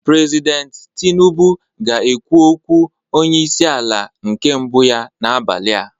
President tinubu ga-ekwu okwu onye isi ala nke mbụ ya n'abalị a